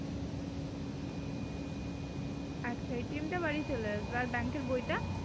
আচ্ছা টা বাড়ী চলে আসবে আর এর বই টা?